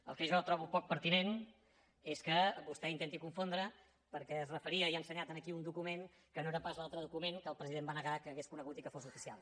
el que jo trobo poc pertinent és que vostè intenti confondre perquè es referia i ha ensenyat aquí un document que no era pas l’altre document que el president va negar que hagués conegut i que fos oficial